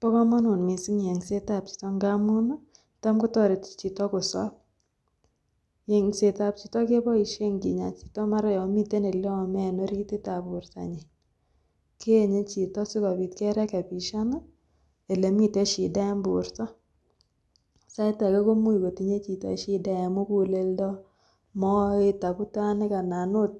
Bokomonut mising yengsetab chichon ng'amun tom kotoreti chito kosob, yengsetab chito keboishen kinyaa chito mara yoon miten oleome en orititab bortanyin, keenye chito sikobit kerekebishan elemiten shida en borto, sait akee komimuch kotinye chito shida en mukuleldo, moet, abutanik anan oot